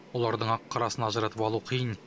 олардың ақ қарасын ажыратып алу қиын